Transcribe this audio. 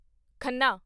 Khanna